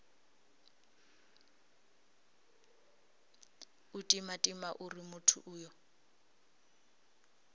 u timatima uri muthu uyo